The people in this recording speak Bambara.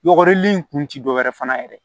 Yɔgɔrili in kun tɛ dɔwɛrɛ ye fana yɛrɛ